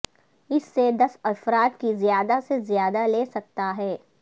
اس سے دس افراد کی زیادہ سے زیادہ لے سکتا ہے